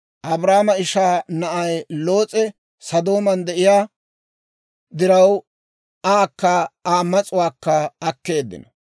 Abraamo ishaa na'ay Loos'e Sodooman de'iyaa diraw, aakka Aa mas'uwaakka akkeeddino.